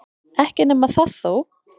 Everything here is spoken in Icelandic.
Ekki nema það þó!